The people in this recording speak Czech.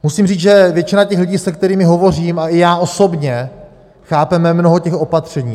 Musím říct, že většina těch lidí, se kterými hovořím, a i já osobně chápeme mnoho těch opatření.